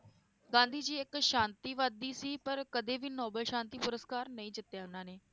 ਗਾਂਧੀ ਜੀ ਇਕ ਸ਼ਾਂਤੀ ਵਾਦੀ ਸੀ ਪਰ ਕਦੇ ਵੀ ਨੋਬਲ ਸ਼ਾਂਤੀ ਪੁਰਸਕਾਰ ਨਹੀਂ ਜਿੱਤਿਆ ਉਹਨਾਂ ਨੇ,